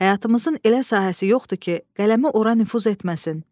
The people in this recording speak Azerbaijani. Həyatımızın elə sahəsi yoxdur ki, qələmi ora nüfuz etməsin.